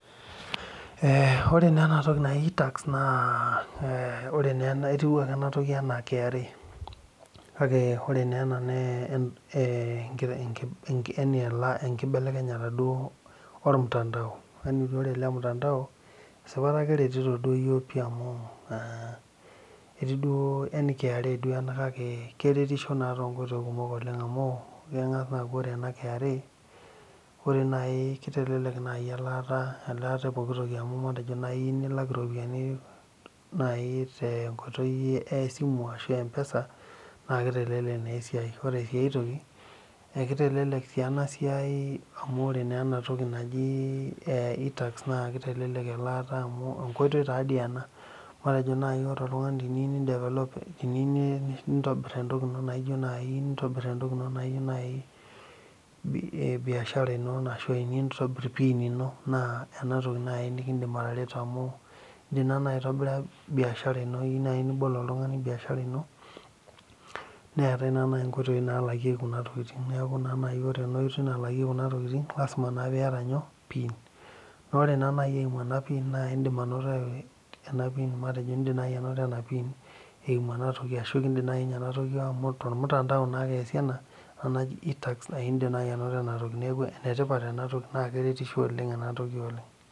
Ore naa ena toki naji itax etieu ake ena toki enaa KRA naa enkibelekenyata ormutandao naa ore ele mtandao esipata keretito duo iyiok pih amu aaa yani KRA duo ena amu keretisho duo toonkoitoi kumok amu keng'as aaaku ore ena KRA ore naaji keitelelek naaji elaata epooki toki amu matejo naaji iyieu nilak iropiyiani tenkoitoi e esimu ashua empesa naa keitelelek sii esiai ore aii ae toki keitelelek sii ena siai amu ore naa ena toki naji itax naa keitelelek elaa amu enkoitoi taadoi ena matejo naaji ore oltung'ani teniyieu nindevelop niyieu nitabir entoki ino naijio naaji biashara ino ashu teniyieu nintabir pin ino naa ena toki naaji nimindim atareto amu indiim naa naaji atobira pin ashua biashara ino iyieu naaji nibol oltung'ani biashara ino neetai naaji inkoitoi naalakieki kuna tokitin neeku naa naji ore enaoiroi lalakieki kuna tokitin naa lazima piata nyoo pin naa ore naaji eimu ena pin naa indiim anoto ena pin eimu ena pin tormutandao naakesiii ena naji itax amu tormutandao eesi ena neeku keretisho enatoki oleng